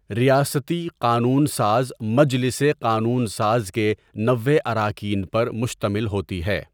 ریاستی قانون ساز مَجلِسِ قانُون ساز کے نوے اراکین پر مشتمل ہوتی ہے۔